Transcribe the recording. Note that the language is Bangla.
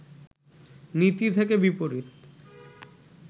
নীতি থেকে বিপরীত